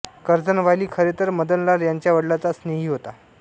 Curzon Wyllie खरेतर मदनलाल यांच्या वडिलांचा स्नेही होता